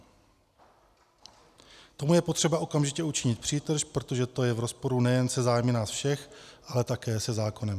Tomu je potřeba okamžitě učinit přítrž, protože to je v rozporu nejen se zájmy nás všech, ale také se zákonem.